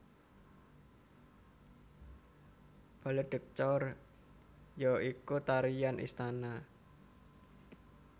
Ballet de cour ya iku tarian istana